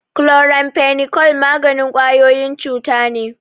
Chloramphenicol maganin ƙwayoyin cuta ne.